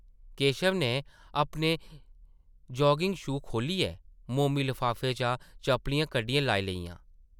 केशव नै अपने jogging shoe खोह्ल्लियै, मोमी लफाफे चा चपलियां कड्ढियै लाई लेइयां ।